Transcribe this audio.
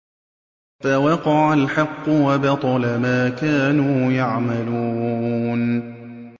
فَوَقَعَ الْحَقُّ وَبَطَلَ مَا كَانُوا يَعْمَلُونَ